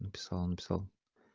написал написал